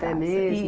Pé mesmo?